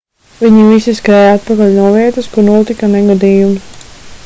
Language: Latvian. viņi visi skrēja atpakaļ no vietas kur notika negadījums